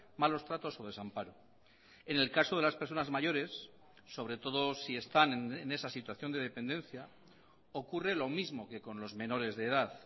malos tratos o desamparo en el caso de las personas mayores sobre todo si están en esa situación de dependencia ocurre lo mismo que con los menores de edad